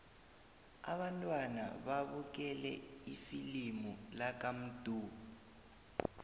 abantwana babukele ifilimu lakamdu